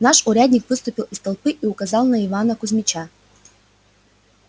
наш урядник выступил из толпы и указал на ивана кузмича